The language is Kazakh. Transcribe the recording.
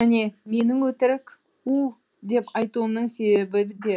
міне менің өтірік у деп айтуымның себебі де